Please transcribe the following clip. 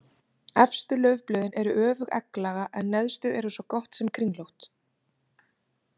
Efstu laufblöðin eru öfugegglaga en neðstu eru svo gott sem kringlótt.